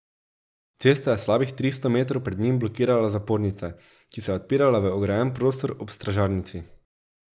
Cesto je slabih tristo metrov pred njim blokirala zapornica, ki se je odpirala v ograjen prostor ob stražarnici.